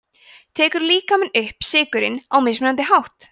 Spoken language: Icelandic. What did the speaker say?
tekur líkaminn upp sykurinn á mismunandi hátt